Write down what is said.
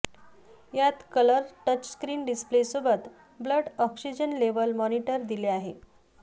यात colour touchscreen display सोबत blood oxygen level monitor दिले आहे